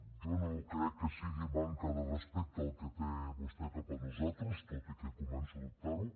jo no crec que sigui manca de respecte el que té vostè cap a nosaltres tot i que començo a dubtar ho